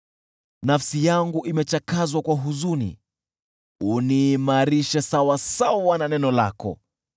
Nafsi yangu imechakazwa kwa huzuni, uniimarishe sawasawa na neno lako.